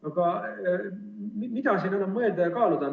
Aga mida on siin enam mõelda ja kaaluda?